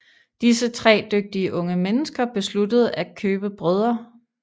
Disse tre dygtige unge mennesker besluttede at købe Brdr